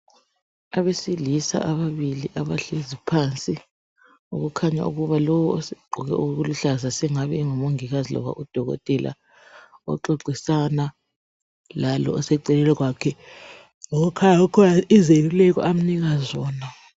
Abesilisa ababili abahlezi phansi, okukhanya ukuba lo osegqoke okuluhlaza sengabe engumongikazi loba udokotela oxoxisana lalo oseceleni kwakhe. Kukhanya kukhona izeluleko amnika zona.